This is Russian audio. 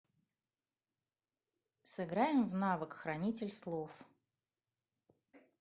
сыграем в навык хранитель слов